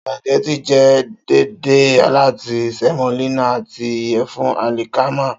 Spaghettì jẹ deede lati semolina ati iyẹfun alikama.